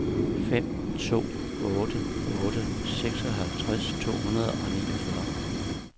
fem to otte otte seksoghalvtreds to hundrede og niogfyrre